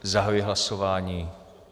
Zahajuji hlasování.